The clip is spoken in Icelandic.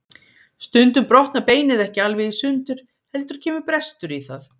Stundum brotnar beinið ekki alveg í sundur heldur kemur brestur í það.